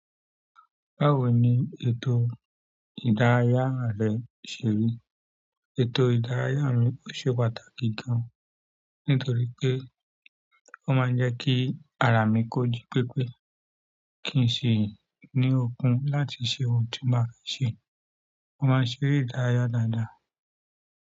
Báwo ni ètò ìdárayá rẹ ṣe rí? Ètò ìdárayá mi ò ṣe pàtàkì gan, nítorí pé ó máa ń jẹ́ kí ara mi kójí pépé. Kí n sì ní okun láti ṣe ohun tí mo bá fẹ́ ṣe mo máa ń ṣeré ìdárayá dáadáa.